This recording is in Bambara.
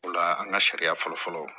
O la an ka sariya fɔlɔ fɔlɔ